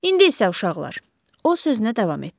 İndi isə uşaqlar, o sözünə davam etdi.